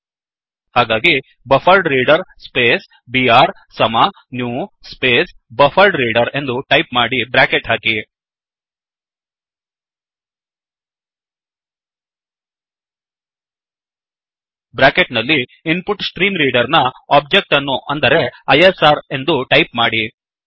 ಹಾಗಾಗಿ buffered reader buffered reader space BR ಸಮ new space BufferedReaderಬಫ್ಫರ್ಡ್ ರೀಡರ್ ಎಂದು ಟೈಪ್ ಮಾಡಿ ಬ್ರ್ಯಾಕೆಟ್ ಹಾಕಿ ಬ್ರ್ಯಾಕೆಟ್ ನಲ್ಲಿ InputStreamReaderಇನ್ಪು ಟ್ಸ್ಟ್ರೀ ಮ್ರೀ ಡರ್ ನ ಒಬ್ಜೆಕ್ಟ್ ಅನ್ನು ಅಂದರೆ ಐಎಸ್ಆರ್ ಎಂದು ಟೈಪ್ ಮಾಡಿ